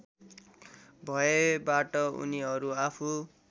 भएबाट उनीहरू आफू